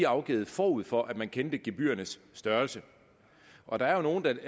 afgivet forud for at man kendte gebyrernes størrelse og der er jo nogle